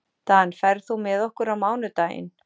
Dan, ferð þú með okkur á mánudaginn?